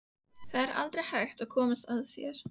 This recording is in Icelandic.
Það er aldrei hægt að komast að þér.